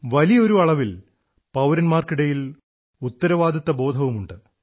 വലിയൊരു അളവിൽ പൌരന്മാർക്കിടയിൽ ഉത്തരവാദിത്വബോധവുമുണ്ട്